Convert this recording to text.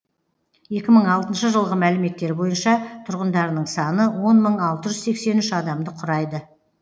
екі мың алтыншы жылғы мәліметтер бойынша тұрғындарының саны он мың алты жүз сексен үш адамды құрайды